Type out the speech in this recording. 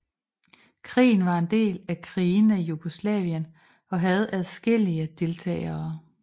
Krigen var en del af Krigene i Jugoslavien og havde adskillige deltagere